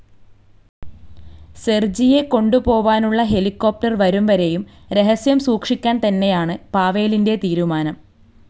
സെർജിയെക്കൊണ്ടുപോവാനുള്ളഹെലികോപ്റ്റർ വരുംവരെയും രഹസ്യം സൂക്ഷിക്കാൻതന്നെയാണ് പാവേലിൻ്റെ തീരുമാനം.